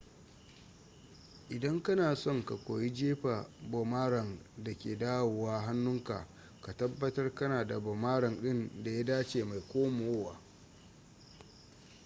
idan kana son ka koyi jefa boomerang da ke dawowa hannunka ka tabbatar kana da boomerang din da ya dace mai komowa